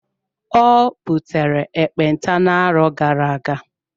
Ọ butere ekpenta na-arọ gara-aga.